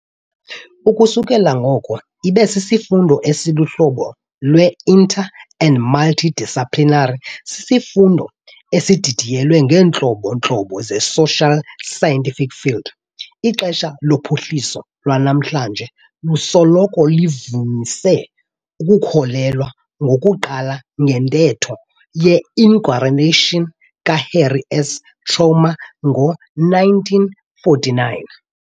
Ukusukela ngoko, ibe sisifundo esiluhlobo lwe-inter- and multi-disciplinary, sisisifundo esididiyelwe ngeentlobo-ntlobo ze-social scientific fields. Ixesha lophuhliso lanamhlanje lusoloko livamise ukukholelwa ngokuqala ngentetho ye-inauguration kaHarry S. Truman ngo-1949.